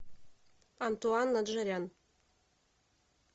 антуан наджарян